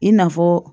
I n'a fɔ